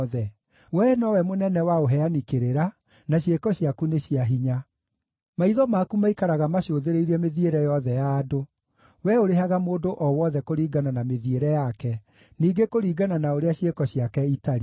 wee nowe mũnene wa ũheani kĩrĩra, na ciĩko ciaku nĩ cia hinya. Maitho maku maikaraga macũthĩrĩirie mĩthiĩre yothe ya andũ; wee ũrĩhaga mũndũ o wothe kũringana na mĩthiĩre yake, ningĩ kũringana na ũrĩa ciĩko ciake itariĩ.